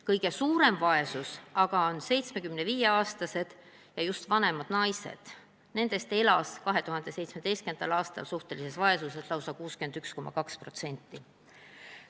Kõige suuremas vaesuses aga on 75-aastased ja vanemad ning just naised, nendest elas 2017. aastal suhtelises vaesuses lausa 61,2%.